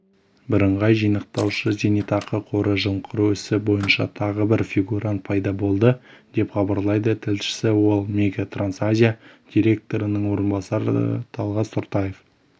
бірыңғай жинақтаушы зейнетақы қоры жымқыру ісі бойынша тағы бір фигурант пайда болды деп хабарлайды тілшісі ол мегатрансазия директорының орынбасары талғас тұртаев